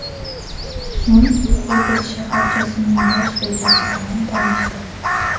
So‘ng Xovos shaharchasining bosh rejasi bilan tanishdi .